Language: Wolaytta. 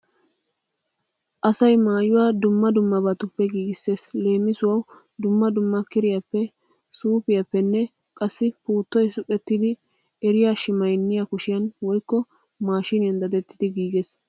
Asay maayuwa dumma dummabatuppe giigissees. Leemisuwawu dumma dumma kiriyaappe, suufiyappenne qassi puuttoy suqettidi eriya shimaynniya kushiyan woykko maashiniyan dadettidi giigees.